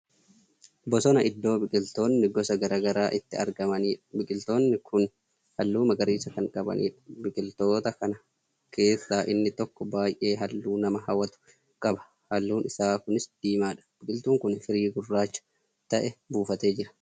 Bosona iddoo biqiltoonni gosa garagaraa itti argamaniidha. biqiltoonni Kuni halluu magariisa Kan qabaniidha. biqiltoota kana keessaa inni tokko baay'ee halluu nama hawatu qaba. halluun isaa Kunis diimaadha. biqiltuun kuni firii gurraacha ta'e buufatee Jira